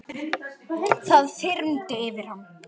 Það þyrmdi yfir hann.